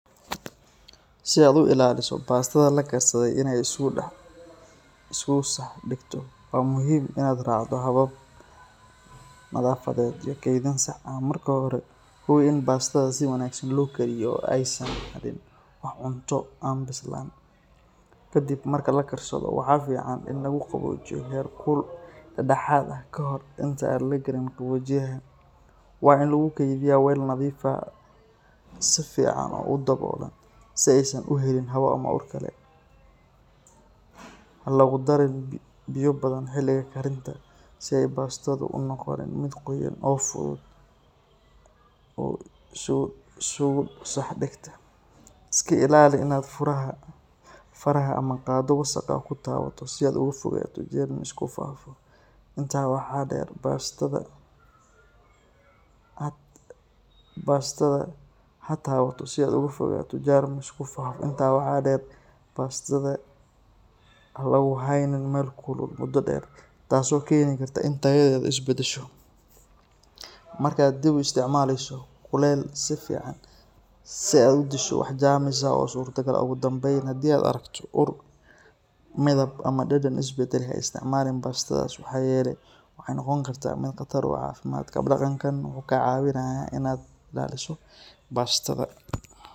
Si aad u ilaaliso basbasta la karsaday in ay isugu sax degto, waa muhiim inaad raacdo habab nadaafadeed iyo kaydin sax ah. Marka hore, hubi in basbasta si wanaagsan loo kariyay oo aysan hadhin wax cunto aan bislaan. Kadib marka la karsado, waxaa fiican in lagu qaboojiyo heerkul dhex dhexaad ah ka hor inta aan la gelin qaboojiyaha. Waa in lagu kaydiyaa weel nadiif ah oo si fiican u daboolan si aysan u helin hawo ama ur kale. Ha lagu darin biyo badan xilliga karinta si aysan basbastu u noqonnin mid qoyan oo fudud u isugu sax degta. Iska ilaali inaad faraha ama qaaddo wasakh ah ku taabato si aad uga fogaato jeermis ku faafo. Intaa waxaa dheer, basbasta ha lagu haynin meel kulul muddo dheer, taasoo keeni karta in tayadeedu isbeddesho. Marka aad dib u isticmaalayso, kululee si fiican si aad u disho wax jeermis ah oo suuragal ah. Ugu dambayn, hadii aad aragto ur, midab, ama dhadhan isbeddelay, ha isticmaalin basbastaas, maxaa yeelay waxay noqon kartaa mid qatar ah caafimaadka. Hab-dhaqankan wuxuu kaa caawinayaa in aad ilaaliso basbasta.